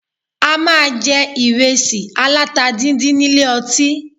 A máa jẹ ìrẹsì aláta díndín nílé ọtí